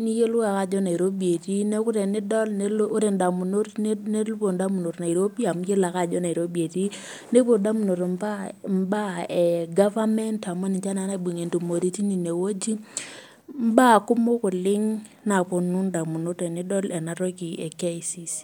niyiolou ake ajo nairobi etii neeku tenadol ore indamunot nepuo nairobi amu iyiolo ake ajo Nairobi etii, nepuo indamunot imbaa ee government amu iyiolo ake ajo ninje naibungie intumoritin ine woji imbaa kumok oleng' naponu indamunot tenidol ena toki e KICC.